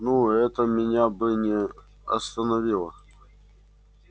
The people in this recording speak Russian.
ну это меня бы не остановило